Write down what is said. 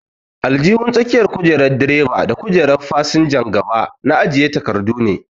Aljihun tsakiyar kojerar direba da kujerar fasinjan gaba na ajiye takardu ne.